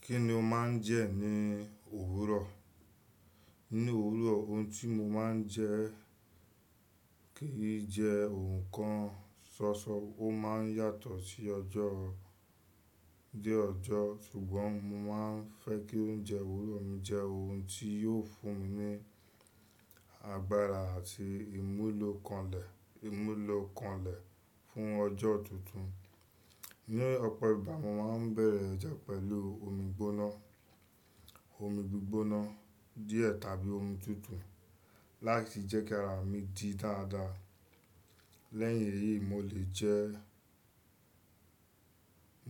Kí ni o máa ń jẹ ní òwúrọ̀? Ní òwúrọ̀, ohun tí mo máa ń jẹ kì í jẹ ohun kan ṣoṣo. Ó máa ń yàtọ̀ sí ọjọ́ dé ọjọ́. Ṣùgbọ́n mo máa ń fẹ́ kí oúnjẹ òwúrọ̀ mi jẹ́ ohun tí yóò fún mi ní agbára àti ìmúlòkanlẹ̀, ìmúlòkanlẹ̀ fún ọjọ́ tuntun. Ni ọ̀pọ̀ ìgbà, mo máa ń bẹ̀rẹ̀ ọjọ́ pẹ̀lú omi gbóná, omi gbígbóná díẹ̀ tàbí omi tútù láti jẹ́ kí ara mi di dáadáa. Lẹ́yìn èyí, mo lè jẹ,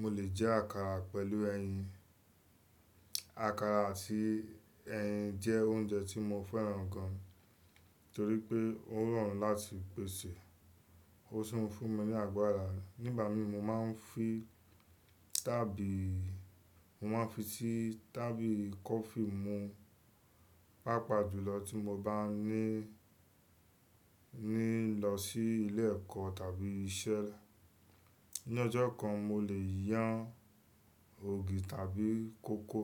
mo lè jẹ àkàrà pẹ̀lú ẹyin. Àkàrà àti ẹyin jẹ́ oúnjẹ tí mo fẹ́ràn gan torí pé ó rọrùn láti pèsè. Ó sì ń fún mi ní agbára. Nígbà mi mo máa ń fi tábì, mo máa ń fi sí tábìlì coffee mu, pàápàá jùlọ tí mo bá ní, ní lọ sí ilé-ẹ̀kọ́ tàbí iṣẹ́. Ni ọjọ́ kan, mo lè yan ògì tàbí kókò.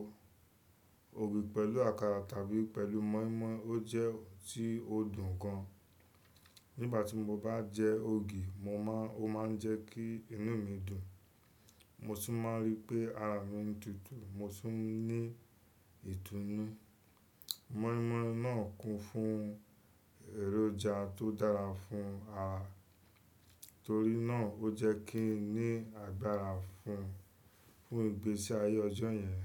Ògì pẹ̀lú àkàrà tàbí pẹ̀lú mọ́ímọ́í ó jẹ́ ohun tí ó dùn gan. Nígbà tí mo bá jẹ ògì, mo máa, ó máa ń jẹ́ kí inú mi dùn. Mo tun máa rí pé ara mi ń duuduu Mo sì ń ní ìdunu. Mọ́ímọ́í náà kún fún èròjà tó dára fún ara. Torí náà ó jẹ́ kí n ní agbára fún, fún ìgbésí ayé ọjọ́ yẹn.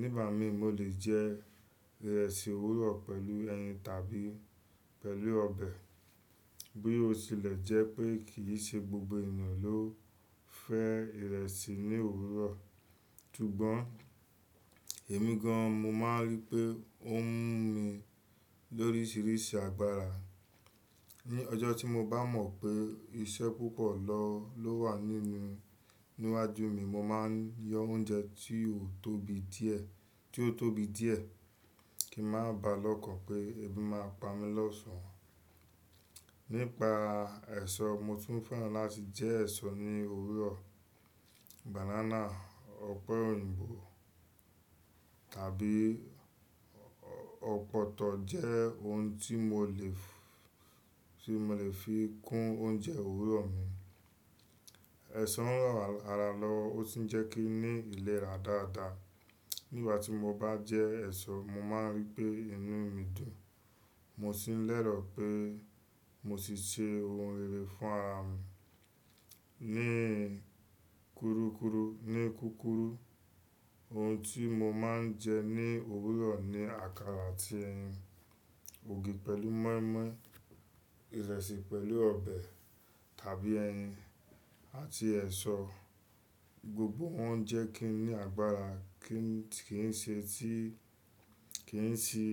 Nígbà mi mo lè jẹ ìrẹsì òwúrọ̀ pẹ̀lú ẹyin tàbí pẹ̀lú ọbẹ̀. Bí ó tilẹ̀ jẹ́ pé kì í ṣe gbogbo ènìyàn ló fẹ ìrẹsì ní òwúrọ̀. Ṣùgbọ́n èmi gan mo máa ń rí pé ó ń mú mi lóríṣiríṣi agbára. Ni ọjọ́ tí mo bá mọ̀ pé iṣẹ́ púpọ̀ lọ ló wà nínú, níwájú mi, mo máa ń yan oúnjẹ tí ó tóbi díẹ̀, tí ó tóbi díẹ̀ kí má bàá lọ́kàn pé ebi máa pa mí lọ́sàn-án. Nípa ẹ̀ṣọ́, mo tún fẹ́ràn láti jẹ ẹ̀ṣọ́ ní òwúrọ̀. Banana, ọ̀pẹ òyìnbó tàbí ọ̀pọ̀tọ́ jẹ́ ohun tí mo lè --ff, tí mo lè fi kún oúnjẹ òwúrọ̀ mi. Ẹ̀ṣọ́ ń ràn ara lọ ó sì ń jẹ́ kí i ní ìlera dáadáa. Nígbà tí mo bá jẹ ẹ̀ṣọ́, mo máa ń rí pé inú mi dùn. Mo sì ń lérò pé mo ti ṣe ohun rere fún ara mi. Ní kúrúkúrú, ni kúkúrú, ohun tí mo máa ń jẹ ní òwúrọ̀ ni àkàrà àti ẹyin, ògì pẹ̀lú mọ́ímọ́í, ìrẹsì pẹ̀lú ọbẹ̀ tàbí ẹyin, àti ẹ̀ṣọ́. Gbogbo wọn jẹ́ kí n ní agbára, kí n ti ṣe tí, kí n sì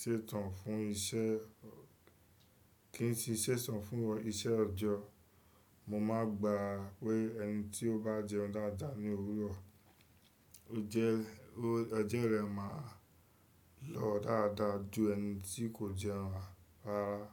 ṣètàn fún iṣẹ́, kí n sì ṣètàn fún iṣẹ́ ọjọ́. Mo máa gba pé ẹni tí ó bá jẹun dáadáa ní òwúrọ̀, ó jẹ́, ọ̀jo rẹ maa lọ dáadáa ju ẹni tí kò jẹun rárá.